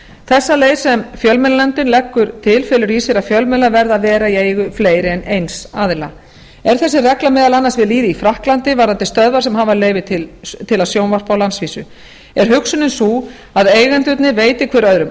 þessa leið sem fjölmiðlanefndin leggur til felur í sér að fjölmiðlar verða að vera í eigu fleiri en eins aðila er þessi regla meðal annars við lýði í frakklandi varðandi stöðvar sem hafa leyfi til að sjónvarpa á landsvísu er hugsunin sú að að eigendurnir veiti hverjir öðrum